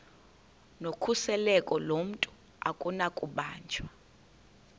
nokhuseleko lomntu akunakubanjwa